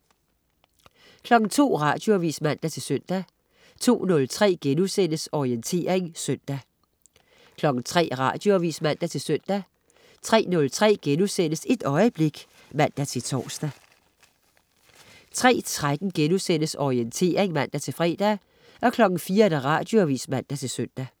02.00 Radioavis (man-søn) 02.03 Orientering søndag* 03.00 Radioavis (man-søn) 03.03 Et øjeblik* (man-tors) 03.13 Orientering* (man-fre) 04.00 Radioavis (man-søn)